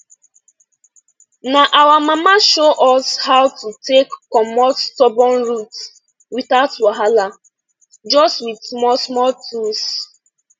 na our mama show us how to us how to take comot stubborn root without wahala just with smallsmall tools